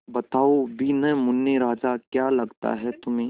बताओ भी न मुन्ने राजा क्या लगता है तुम्हें